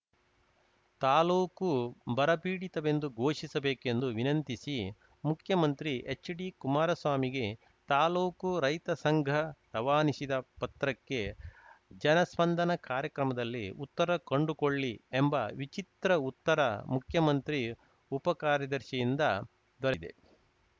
ತಾಲೂಕು ಬರಪೀಡಿತವೆಂದು ಘೋಷಿಸಬೇಕೆಂದು ವಿನಂತಿಸಿ ಮುಖ್ಯಮಂತ್ರಿ ಎಚ್‌ಡಿ ಕುಮಾರಸ್ವಾಮಿಗೆ ತಾಲೂಕು ರೈತ ಸಂಘ ರವಾನಿಸಿದ ಪತ್ರಕ್ಕೆ ಜನಸ್ಪಂದನ ಕಾರ್ಯಕ್ರಮದಲ್ಲಿ ಉತ್ತರ ಕಂಡುಕೊಳ್ಳಿ ಎಂಬ ವಿಚಿತ್ರ ಉತ್ತರ ಮುಖ್ಯಮಂತ್ರಿ ಉಪ ಕಾರ್ಯದರ್ಶಿಯಿಂದ ದೊರೆತಿ